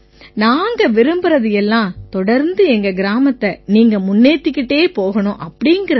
நாங்க விரும்பறது எல்லாம் தொடர்ந்து எங்க கிராமத்தை நீங்க முன்னேத்திக்கிட்டே போகணுங்கறது தான்